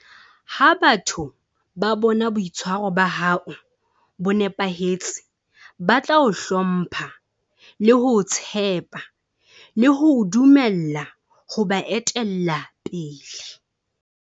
Ha batho ba bona boitshwaro ba hao bo nepahetse, ba tla o hlomppha le ho o tshepa le ho o dumella ho ba etella pele.